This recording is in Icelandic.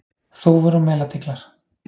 Þúfur og melatíglar.